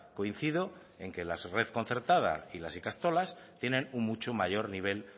coincido en que la red concertada y las ikastolas tienen un mucho mayor nivel